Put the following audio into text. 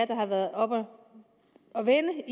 der har været oppe at vende